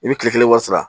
I bɛ kile kelen wari sara